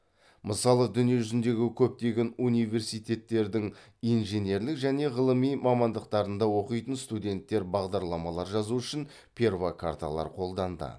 мысалы дүние жүзіндегі көптеген университеттердің инженерлік және ғылыми мамандықтарында оқитын студенттер бағдарламалар жазу үшін перфокарталар қолданды